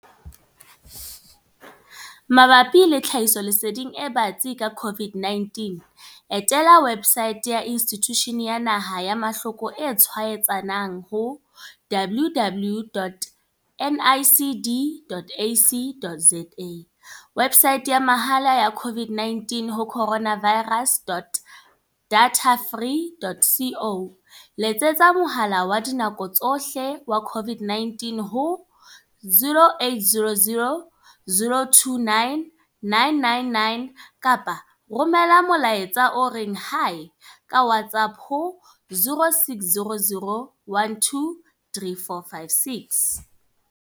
Mabapi le tlhahisoleseding e batsi ka COVID-19, etela websaete ya Institjhuti ya Naha ya Mahloko e tshwaetsanang ho www.nicd.ac.za, websaete ya mahala ya COVID-19 ho coronavirus.datafree.co, letsetsa mohala wa dinako tsohle wa COVID-19 ho 0800 029 999 kapa romela molaetsa o reng. Hi, ka WhatsApp ho 0600 12 3456.